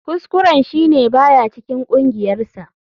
Kuskuren shi ne ba ya cikin kungiyarsa.